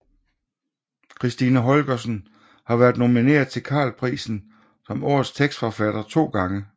Kristina Holgersen har været nomineret til Carl Prisen som Årets Tekstforfatter 2 gange